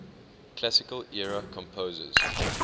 classical era composers